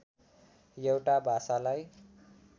एउटा भाषालाई